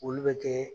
Olu bɛ kɛ